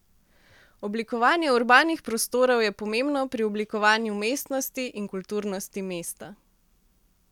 Oblikovanje urbanih prostorov je pomembno pri oblikovanju mestnosti in kulturnosti mesta.